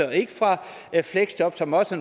og ikke fra fleksjob som også